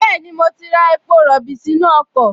Bẹ́ẹ̀ni, mo ti ra epo rọ̀bì sínú ọkọ̀